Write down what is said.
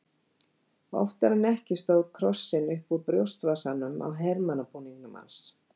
Oftar en ekki stóð krossinn upp úr brjóstvasanum á hermannabúningnum hans.